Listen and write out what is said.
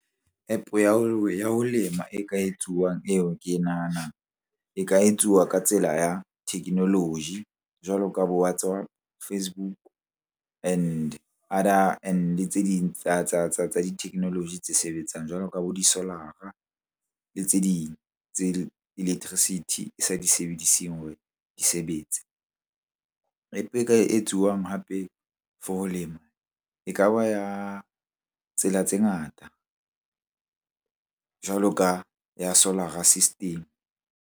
App-o ya ho lema e ka etsuwang eo ke e nahanang e ka etsuwa ka tsela ya technology jwalo ka bo WhatsApp, Facebook, and other and le tse ding tsa di-technology tse sebetsang jwalo ka bo di solar-ra le tse ding tse electricity e sa di sebediseng di sebetse. App-e e ka etsuwang hape for ho lema e ka ba ya tsela tse ngata jwalo ka ya Solar-ra system.